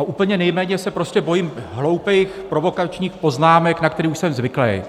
úplně nejméně se prostě bojím hloupých provokačních poznámek, na které už jsem zvyklý.